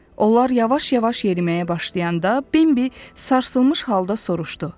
Onlar yavaş-yavaş yeriməyə başlayanda Bimbi sarsılmış halda soruşdu.